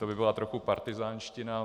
To by byla trochu partyzánština.